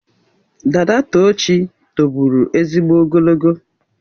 Dada Tochi tobụrụ ezigbo ogologo.